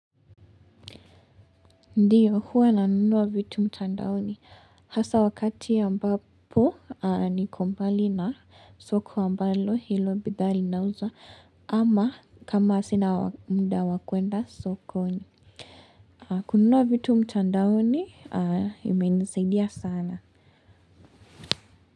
Ndio, huwa nanunua vitu mtandaoni hasa wakati ambapo niko mbali na soko ambalo hilo bidhaa inauzwa ama kama sina muda wa kuenda sokoni. Kununua vitu mtandaoni imenisaidia sana.